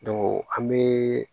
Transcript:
an bɛ